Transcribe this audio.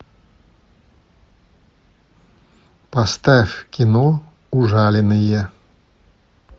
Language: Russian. поставь кино ужаленные